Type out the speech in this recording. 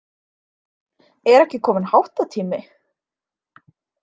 Er ekki kominn háttatími?